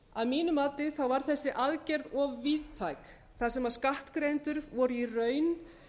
að mínu mati var þessi aðgerð of víðtæk þar sem skattgreiðendur voru í raun